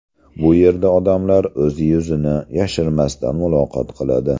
Bu yerda odamlar o‘z yuzini yashirmasdan muloqot qiladi.